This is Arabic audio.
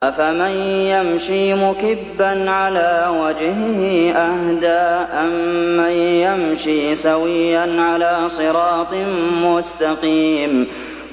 أَفَمَن يَمْشِي مُكِبًّا عَلَىٰ وَجْهِهِ أَهْدَىٰ أَمَّن يَمْشِي سَوِيًّا عَلَىٰ صِرَاطٍ مُّسْتَقِيمٍ